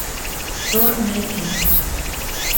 тор найти